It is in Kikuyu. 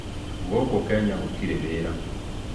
Gũkũ Kenya gũtirĩ wĩra